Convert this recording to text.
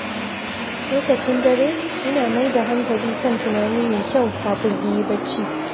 Lokacin dare, ina mai da hankali kan tunani mai kyau kafin in yi bacci.